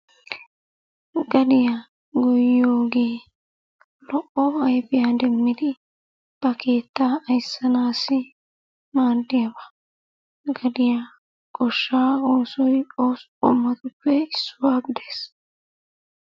Gadiya goyiyoogee lo"o ayifiya demmidi ba keettaa ayissanaassi maaddiyaaba. Gadiya goshshaa oosoy ooso qommotuppe issuwa gides.